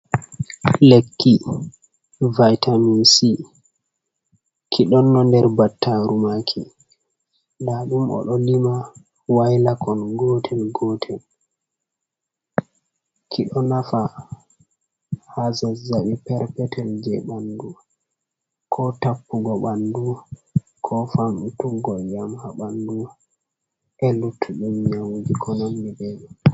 Lekki vitamin-c. ki ɗonno nder battaaru maaki, nda ɗum o ɗo lima wailakon gotel-gotel. ki ɗo nafa haa zazaɓi perpetel jei ɓandu, ko tappugo ɓandu, ko famɗutuggo iyam haa ɓandu e luttuɗum nyawuji ko nandi be mai